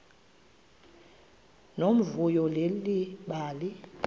nomvuyo leli bali